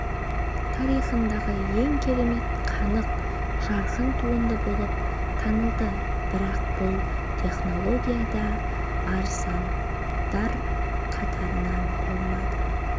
тарихындағы ең керемет қанық жарқын туынды болып танылды бірақ бұл технология да арзандар қатарынан болмады